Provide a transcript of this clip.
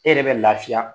E yɛrɛ bɛ lafiya